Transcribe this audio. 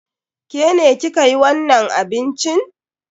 Ke ne ki ka yi wannan abincin?